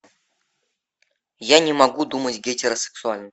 я не могу думать гетеросексуально